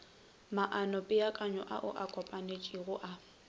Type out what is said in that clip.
maanopeakanyo ao a kopanetšwego a